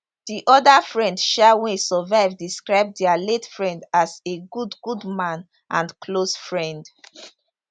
di oda friend um wey survive describe dia late friend as a good good man and close friend